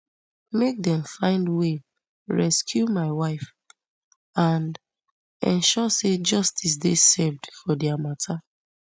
make dem find way rescue my wife and ensure say justice dey served for dia mata